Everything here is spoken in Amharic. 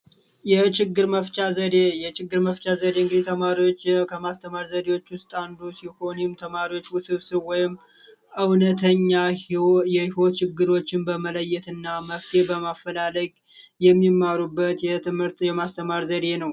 የችግር መፍቻ መፍቻ ዘዴ ተማሪዎች ከማስተማር ዘዴዎች ውስጥ አንዱ ሲሆንም ተማሪዎች ውስብስብ እውነተኛ ችግሮችን በመለየትና መፍትሄ በማፈላለግ የሚማሩበት የትምህርት የማስተማር ዘዴ ነው